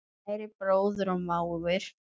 Kæri bróðir og mágur.